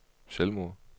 selvmord